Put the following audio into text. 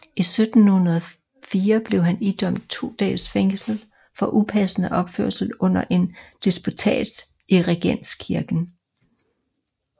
I 1704 blev han idømt to dages fængsel for upassende opførsel under en disputats i Regenskirken